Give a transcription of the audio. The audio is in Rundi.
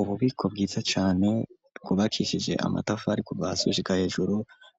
Ububiko, bwiza cane, bwubakishije amatafari, kuva hasi, gushika hejuru,